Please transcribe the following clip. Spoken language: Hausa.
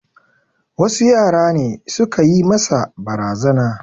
Wasu yara ne su ka yi masa barazana.